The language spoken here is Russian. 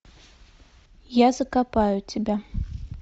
я закопаю тебя